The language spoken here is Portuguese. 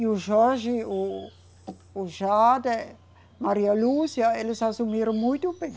E o Jorge, o, o Jada, Maria Lúcia, eles assumiram muito bem.